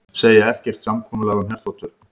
Segja ekkert samkomulag um herþotur